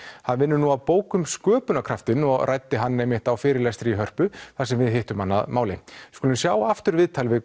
hann vinnur nú að bók um sköpunarkraftinn og ræddi hann einmitt á fyrirlestri í Hörpu þar sem við hittum hann að máli við skulum sjá aftur viðtalið við